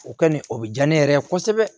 O kɔni o bɛ diya ne yɛrɛ ye kosɛbɛ